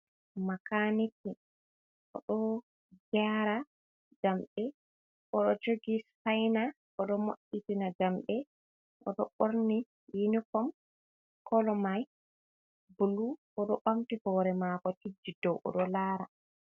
Makaniki o ɗo jara jammɗe, o ɗo jogi sufina, o ɗo mo’itina jamɗe, o ɗo borni yinifom kolo mai bulu, o ɗo bamti hore mako tijji dow, o ɗo lara.